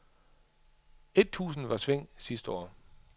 Et tusinde var i sving sidste år.